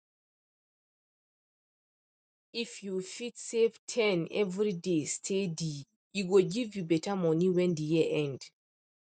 if you fit save ten every day steady e go give you better money when the year end